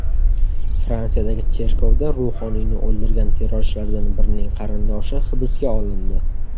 Fransiyadagi cherkovda ruhoniyni o‘ldirgan terrorchilardan birining qarindoshi hibsga olindi.